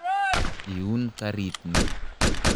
Iun karit ni.